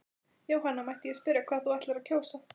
Jóhanna: Mætti ég spyrja hvað þú ætlar að kjósa?